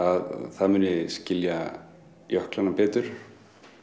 þá muni skilja jöklina betur